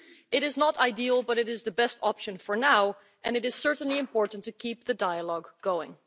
It is not ideal, but it is the best option for now and it is certainly important to keep the dialogue going.